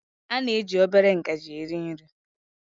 A na-eji obere ngaji eri nri